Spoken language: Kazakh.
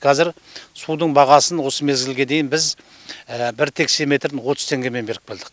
кәзір судың бағасын осы мезгілге дейін біз бір текше метрін отыз теңгеден беріп келдік